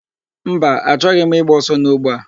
Mba, achọghị m ịgba ọsọ n'ogbe a.